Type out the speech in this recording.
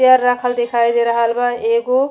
Chair रखल दिखाई दे रहल बा एगो।